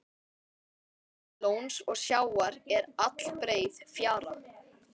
Milli lóns og sjávar er allbreið fjara.